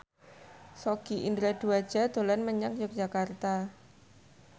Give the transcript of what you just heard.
Sogi Indra Duaja dolan menyang Yogyakarta